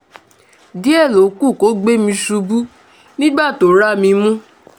díẹ̀ ló kù kó gbé mi ṣubú nígbà tó rá mi mú